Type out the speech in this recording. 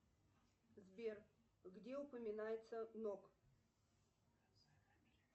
сбер где упоминается нок